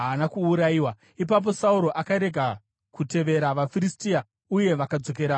Ipapo Sauro akarega kutevera vaFiristia, uye vakadzokera kunyika yavo.